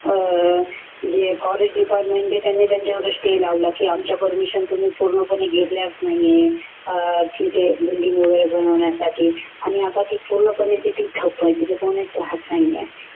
अ जे forest department आहे त्यांनी त्यांच्यावर stay लावला की आमच्या permission तुम्ही पूर्णपणे घेतल्याच नाही आहे अ तिथे building वगैरे बनवण्यासाठी आणि आता ते पूर्णपणे तिथे ठप्प व्हायची आता तिथे कोणीच राहत नाही आहे.